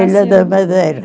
Na Ilha da Madeira.